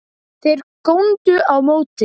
Þeir góndu á móti.